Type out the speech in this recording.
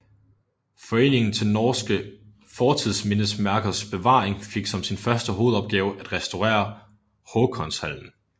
Foreningen til norske Fortidsmindesmerkers Bevaring fik som sin første hovedopgave at restaurere Håkonshallen